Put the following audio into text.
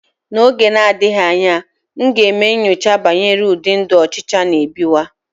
N'oge na-adịghị anya, m ga-eme nyocha banyere ụdị ndụ ọchịcha n'ebiwa.